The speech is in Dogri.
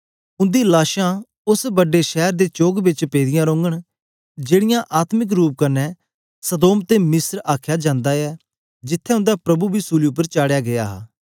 उंदी लाशां उस्स बड्डे शैर दे चोक बिच पेदियें रोंगन जेड़ा आत्मिक रूप कन्ने सदोम ते मिस्र आखया जांदा ऐ जिथें उंदा प्रभु बी सूली उपर चाढ़या गीया हा